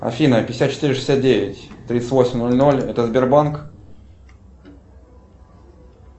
афина пятьдесят четыре шестьдесят девять тридцать восемь ноль ноль это сбербанк